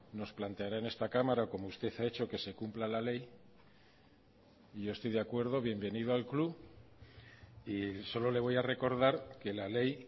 nos planteará en esta cámara como usted ha hecho que se cumpla la ley yo estoy de acuerdo bienvenido al club y solo le voy a recordar que la ley